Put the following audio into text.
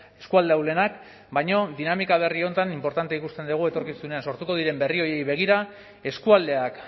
eskualde ahulenak baina dinamika berri honetan inportantea ikusten dugu etorkizunean sortuko diren berri horiei begira eskualdeak